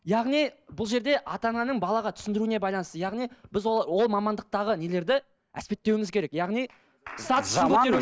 яғни бұл жерде ата ананың балаға түсіндіруіне байланысты яғни біз ол мамандықтағы нелерді әспеттеуіміз керек яғни